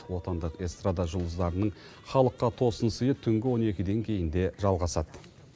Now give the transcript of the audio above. отандық эстрада жұлдыздарының халыққа тосын сыйы түнгі он екіден кейін де жалғасады